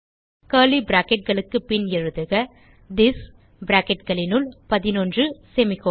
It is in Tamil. கர்லி bracketகளுக்கு பின் எழுதுக திஸ் bracketகளினுள் 11 செமிகோலன்